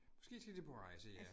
Måske skal de på rejse, ja